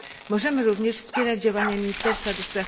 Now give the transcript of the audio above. Możemy również wspierać działania ministerstwa ds.